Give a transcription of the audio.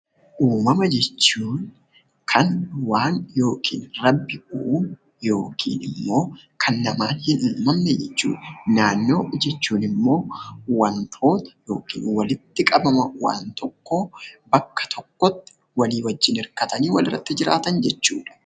Uumama jechuun kan waaqni yokiin rabbi uume yookiin immoo kan namaan hin uumamne jechuudha. Naannoo jechuun immoo wantoota yokiin walitti qabama waan tokkoo bakka tokkotti walii wajjin hirkatanii walirratti jiraatan jechuudha.